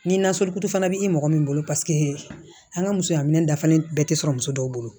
Ni nasugu fana bɛ i mɔgɔ min bolo paseke an ka musoya minɛn dafalen bɛɛ tɛ sɔrɔ muso dɔw bolo